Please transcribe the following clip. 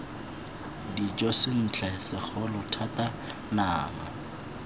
dijo sentle segolo thata nama